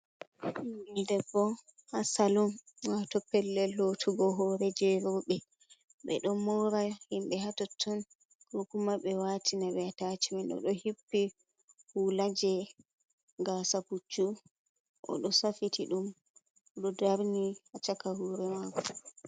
Bingel debbo ha salum wato pellel lottugo hore je robe be do mora himbe hatotton ko kuma be wati nabe atacamen o do hippi hulaje gasa puccu o do safiti dum do darni a caka hore mako.